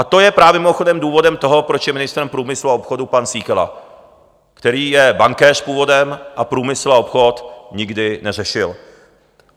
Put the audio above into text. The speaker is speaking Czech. A to je právě mimochodem důvodem toho, proč je ministrem průmyslu a obchodu pan Síkela, který je bankéř původem a průmysl a obchod nikdy neřešil.